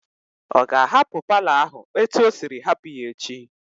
Ọ ga-ahapụ paalọ ahụ etu o siri hapụ ya echi?